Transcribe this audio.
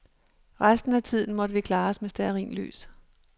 Resten af tiden måtte vi klare os med stearinlys.